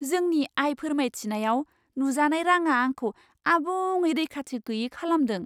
जोंनि आय फोरमायथियाव नुजानाय राङा आंखौ आबुङै रैखाथि गैयै खालामदों।